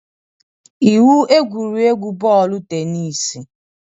Iwu egwuregwu bọọlụ tenis